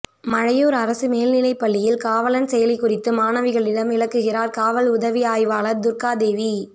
மழையூா் அரசு மேல்நிலைப் பள்ளியில் காவலன் செயலி குறித்து மாணவிகளிடம் விளக்குகிறாா் காவல் உதவி ஆய்வாளா் துா்காதேவி